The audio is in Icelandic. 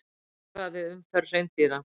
Varað við umferð hreindýra